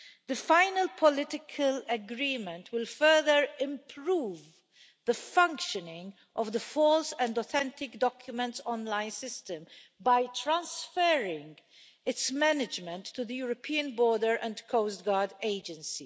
The final political agreement will further improve the functioning of the false and authentic documents online system by transferring its management to the European Border and Coast Guard Agency.